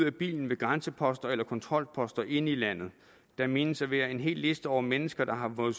af bilen ved grænseposter eller kontrolposter inde i landet der menes at være en hel liste over mennesker der har fået